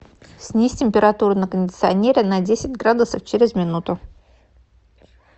снизь температуру на кондиционере на десять градусов через минуту